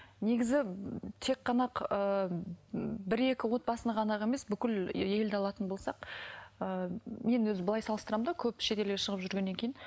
негізі ыыы тек қана ыыы бір екі отбасыны ғана ақ емес бүкіл елді алатын болсақ ыыы мен мысалы былай салыстырамын да көп шет елге шығып жүргеннен кейін